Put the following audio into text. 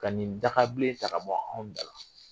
Ka nin dagabilen ta ka bɔ anw dala.